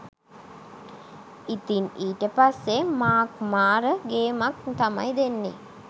ඉතින් ඊට පස්සේ මාර්ක් මාර ගේමක් තමයි දෙන්නේ